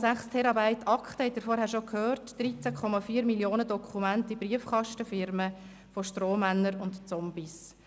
Wie Sie vorhin gehört haben, geht es um 2,6 Terabyte Akten, 13,4 Mio. Dokumente von Briefkastenfirmen, Strohmännern und Zombies.